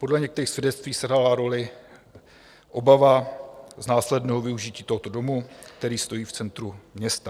Podle některých svědectví sehrála roli obava z následného využití tohoto domu, který stojí v centru města.